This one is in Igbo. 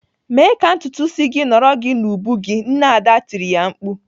"Mee ka ntutu isi gị nọrọ gị n'ubu gị!" Nne Ada tiri ya mkpu.